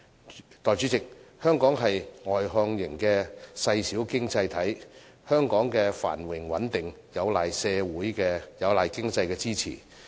代理主席，香港是外向型的細小經濟體，香港的繁榮穩定有賴經濟的支持。